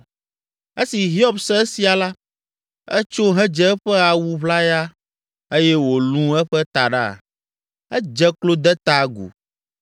Esi Hiob se esia la, etso hedze eƒe awu ʋlaya eye wòlũ eƒe taɖa. Edze klo de ta agu,